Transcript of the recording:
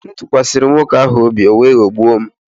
Ee, m tụkwasịrị nwoke ahụ obi, o wee ghọgbuo m